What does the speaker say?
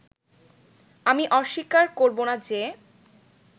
আমি অস্বীকার করবোনা যে